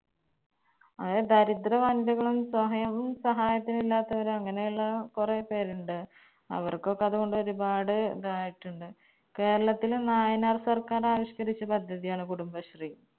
അത് ദരിദ്ര കളും സഹായത്തിനുമില്ലാത്തവര് അങ്ങനെയുള്ള കൊറേ പേരിണ്ട് അവർക്കൊക്കെ അത് കൊണ്ടൊരു ഒരുപാട് ഇതായിട്ടുണ്ട്. കേരളത്തില് നായനാർ സർക്കാർ ആവിഷ്കരിച്ച പദ്ധതിയാണ് കുടുംബശ്രീ